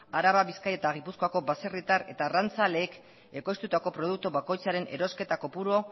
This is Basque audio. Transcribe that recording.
araba bizkaia eta gipuzkoako baserritar eta arrantzaleek ekoiztutako produktu bakoitzaren erosketa kopuru